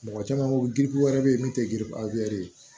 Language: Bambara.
Mɔgɔ caman ko giribu wɛrɛ bɛ yen min tɛ girin a bɛ